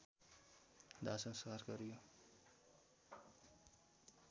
दाहसंस्कार गरियो